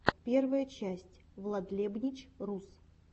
первая часть владлебнич рус